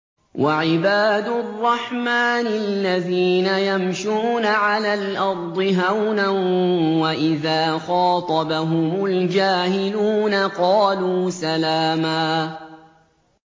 وَعِبَادُ الرَّحْمَٰنِ الَّذِينَ يَمْشُونَ عَلَى الْأَرْضِ هَوْنًا وَإِذَا خَاطَبَهُمُ الْجَاهِلُونَ قَالُوا سَلَامًا